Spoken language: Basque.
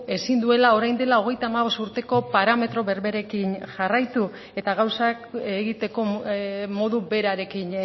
ezin duela orain dela hogeita hamabost urteko parametro berberekin jarraitu eta gauzak egiteko modu berarekin